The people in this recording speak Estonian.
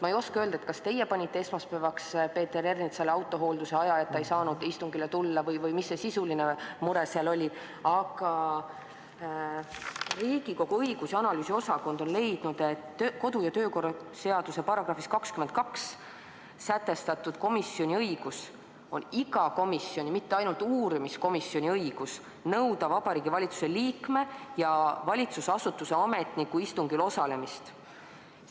Ma ei oska öelda, kas teie panite esmaspäevaks Peeter Ernitsale autohoolduse aja, et ta ei saanud istungile tulla, või mis see sisuline mure seal oli, aga Riigikogu õigus- ja analüüsiosakond on leidnud, et kodu- ja töökorra seaduse §-s 22 sätestatud komisjoni õigus on iga komisjoni, mitte ainult uurimiskomisjoni õigus nõuda Vabariigi Valitsuse liikme ja valitsusasutuse ametniku istungil osalemist.